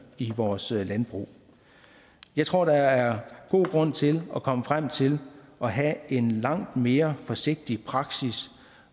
i vores landbrug jeg tror der er god grund til at komme frem til at have en langt mere forsigtig praksis